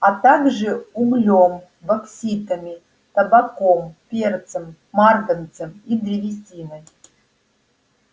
а также углём бокситами табаком перцем марганцем и древесиной